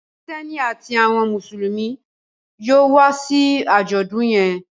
Kristẹni àti àwọn Mùsùlùmí yóò wá sí ajọdun yén